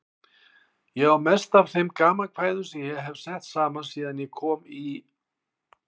Ég á mest af þeim gamankvæðum sem ég hef sett saman síðan ég kom í